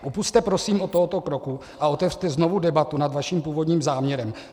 Upusťte prosím od tohoto kroku a otevřete znovu debatu nad vaším původním záměrem.